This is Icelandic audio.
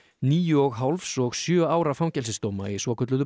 níu og hálfs og sjö ára fangelsisdóma í svokölluðu